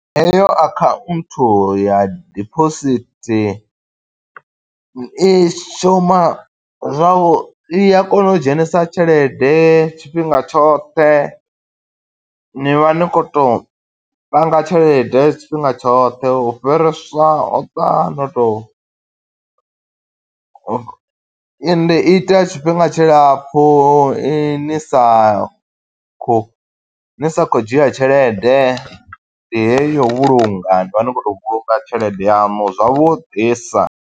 Heyo akhanthu ya diphosithi, i shuma zwau, i a kona u dzhenisa tshelede tshifhinga tshoṱhe. Ni vha ni khou tou panga tshelede tshifhinga tshoṱhe. U fhiriswa o ṱwa no tou u, ende i ita tshifhinga tshilapfu ni ni sa khou ni sa khou dzhia tshelede. Ndi heyo yo u vhulunga, ni vha ni khou to vhulunga tshelede yaṋu zwavhuḓisa.